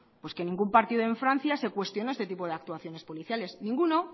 pues que ningún partido en francia se cuestionó este tipo de actuaciones policiales ninguno